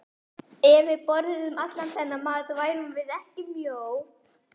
Ef við borðuðum allan þennan mat værum við ekki mjó.